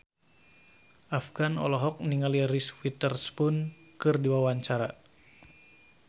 Afgan olohok ningali Reese Witherspoon keur diwawancara